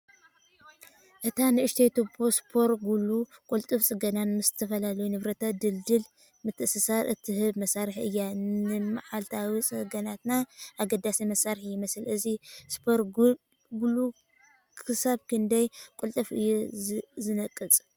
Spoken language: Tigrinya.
እታ ንእሽቶ ቱቦ ሱፐር ግሉ ቅልጡፍ ጽገናን ምስ ዝተፈላለዩ ንብረታት ድልዱል ምትእስሳርን እትህብ መሳርሒ እያ። ንመዓልታዊ ጽገናታት ኣገዳሲ መሳርሒ ይመስል። እዚ ሱፐር ግሉ ክሳብ ክንደይ ቅልጡፍ እዩ ዝነቅጽ?